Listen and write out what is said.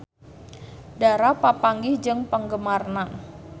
Dara papanggih jeung penggemarna